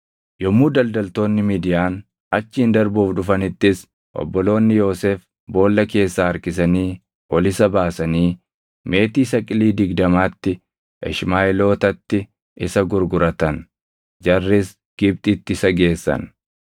Yommuu daldaltoonni Midiyaan achiin darbuuf dhufanittis obboloonni Yoosef boolla keessaa harkisanii ol isa baasanii meetii saqilii digdamaatti Ishmaaʼeelootatti isa gurguratan; jarris Gibxitti isa geessan.